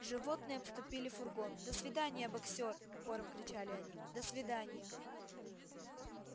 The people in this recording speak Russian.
животные обступили фургон до свидания боксёр хором кричали они до свиданья